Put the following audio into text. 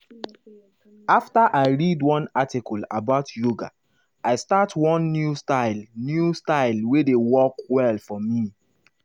after i read one article about yoga i start one new style new style wey dey work well for me.